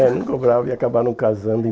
É, não cobrava e acabaram casando em